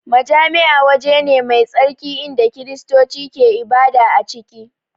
Majami'a waje ne mai tsarki inda Kiristoci ke ibada a ciki